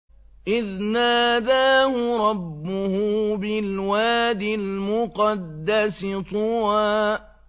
إِذْ نَادَاهُ رَبُّهُ بِالْوَادِ الْمُقَدَّسِ طُوًى